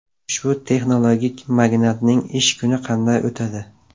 Ushbu texnologik magnatning ish kuni qanday o‘tadi?